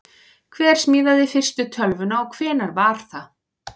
Hver smíðaði fyrstu tölvuna og hvenær var það?